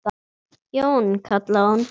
Jón, kallaði hún.